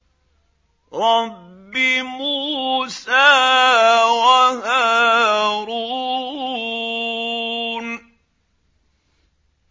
رَبِّ مُوسَىٰ وَهَارُونَ